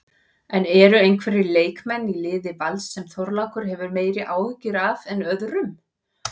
En eru einhverjir leikmenn í liði Vals sem Þorlákur hefur meiri áhyggjur af en öðrum?